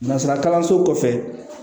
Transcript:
Nanzsara kalanso kɔfɛ